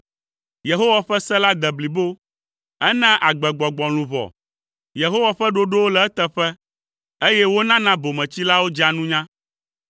Yehowa ƒe se la de blibo, enaa agbegbɔgbɔ luʋɔ! Yehowa ƒe ɖoɖowo le eteƒe, eye wonana bometsilawo dzea nunya.